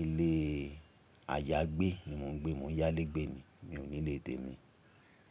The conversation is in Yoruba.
ilé ayágbé ni mo ń gbé, mo yálé gbé ni, mi ò nílé tèmi.